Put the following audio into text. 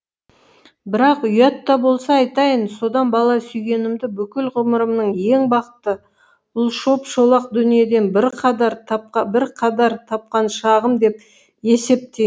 бірақ ұят та болса айтайын содан бала сүйгенімді бүкіл ғұмырымның ең бақытты бұл шоп шолақ дүниеден бірқадар тапқан шағым деп есептейм